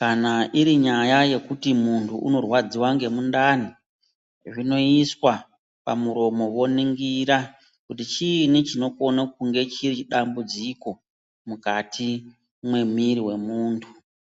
Kana iri nyaya yekuti muntu unorwadziva ngemundani, zvinoiswa pamuromo voningira. Kuti chiini chinokone kunge chiri dambudziko mukati mwemiri wemuntu.